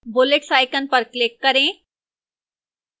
bullets icon पर click करें